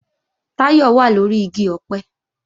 Táyọ̀ wà lóri igi ọ̀pẹ